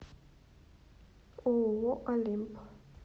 ооо олимп